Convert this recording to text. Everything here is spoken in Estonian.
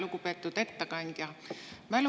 Lugupeetud ettekandja!